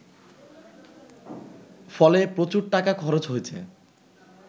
ফলে প্রচুর টাকা খরচ হয়েছে